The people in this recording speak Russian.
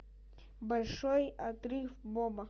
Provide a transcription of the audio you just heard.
большой отрыв боба